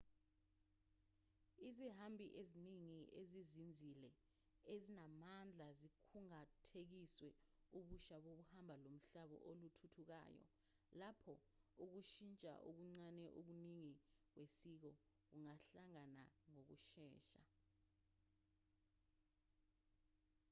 izihambi eziningi ezizinzile ezinamandla zikhungathekiswe ubusha bohambo lomhlabo oluthuthukayo lapho ukushintsha okuncane okuningi kwesiko kungahlangana ngokushesha